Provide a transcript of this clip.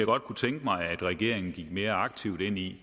godt kunne tænke mig regeringen gik mere aktivt ind i